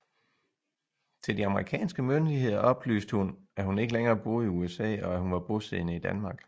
Til de amerikanske myndigheder oplyste hun at hun ikke længere boede i USA og at hun var bosiddende i Danmark